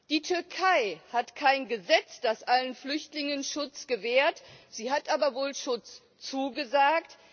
Die Türkei hat kein Gesetz, das allen Flüchtlingen Schutz gewährt, sie hat aber gleichwohl Schutz zugesagt.